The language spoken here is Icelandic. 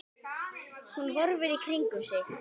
Hún horfir í kringum sig.